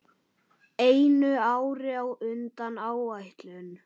Einu ári á undan áætlun.